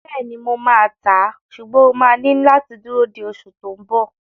Bẹ́ẹ̀ni, mo máa tàá, ṣùgbọ́n o máa ní láti dúró di oṣù tó n bọ̀